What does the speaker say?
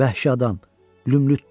Vəhşi adam lümlütdür.